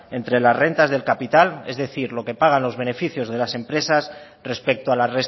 entre las rentas del capital es decir lo que pagan los beneficios de las empresas respecto a la